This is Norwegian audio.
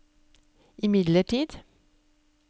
imidlertid